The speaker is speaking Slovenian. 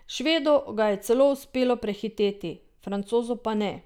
Švedu ga je celo uspelo prehiteti, Francozu pa ne.